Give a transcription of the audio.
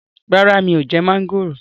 Rárá mi ò jẹ mọ́ńgòrò